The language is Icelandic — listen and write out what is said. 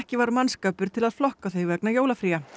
var mannskapur til að flokka þau vegna jólafría